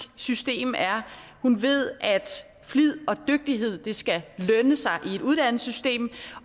system er hun ved at flid og dygtighed skal lønne sig i et uddannelsessystem